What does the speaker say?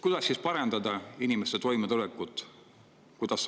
Kuidas siis parandada inimeste toimetulekut?